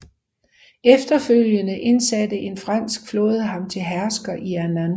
Efterfølgende indsatte en fransk flåde ham til hersker i Annam